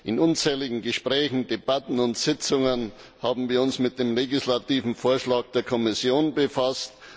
In unzähligen Gesprächen, Debatten und Sitzungen haben wir uns mit dem legislativen Vorschlag der Kommission befasst.